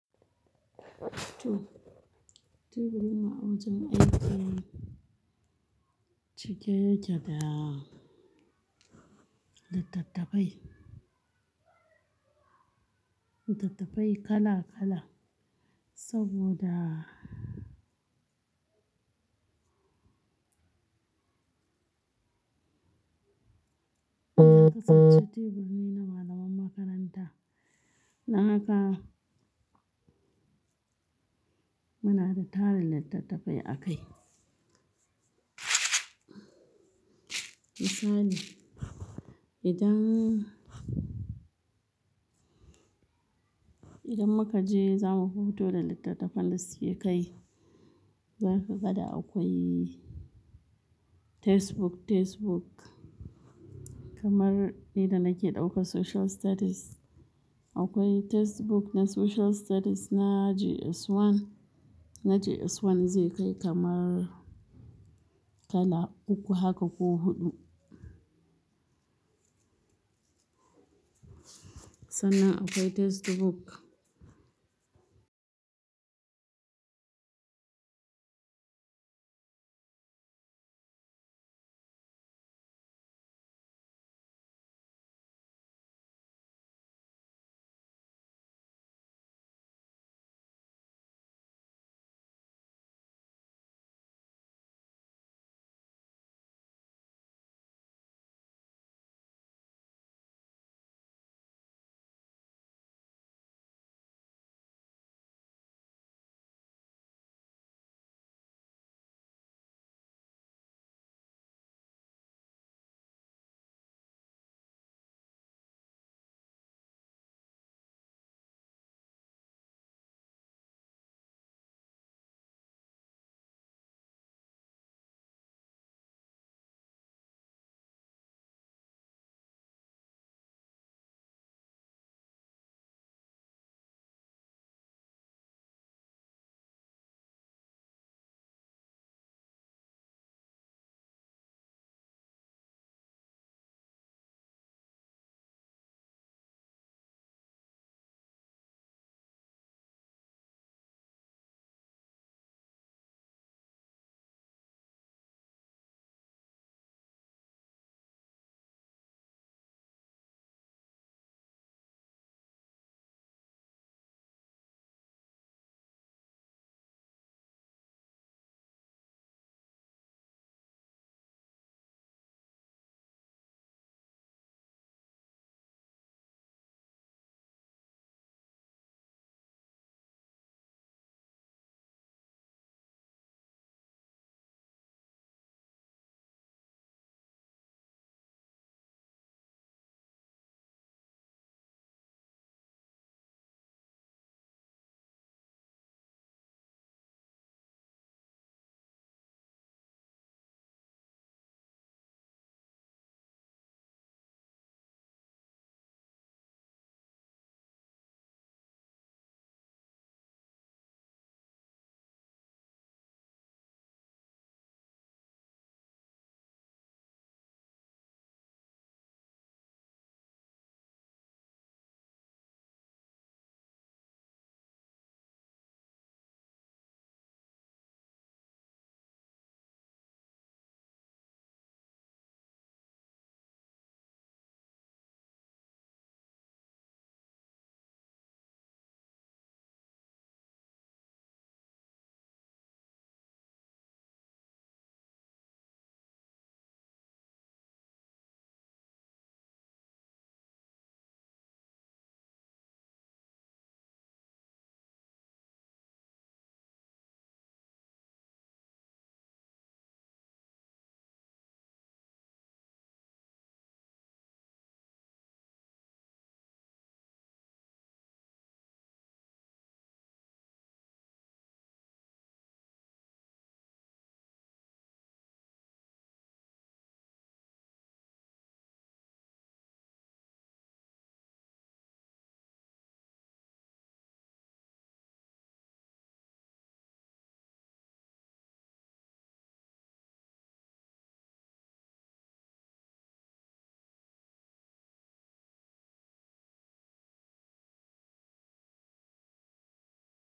To, teburin mu a wajen aiki cike yake da littattafai, littattafai kala kala saboda kasance teburi ne na malaman makaranta. Don haka muna da tarin littattafai a kai. Misali idan, idan muka je za mu huto da littattafan da suke kai, zaka ga da akwai textbook, textbook kamar ni da nake ɗaukan Social Studies. Akwai textbook na Social Studies na JS1. Na JS1 zai kai kamar kala uku haka ko huɗu. Sannan akwai textbook.